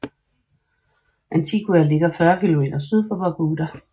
Antigua ligger 40 km syd for Barbuda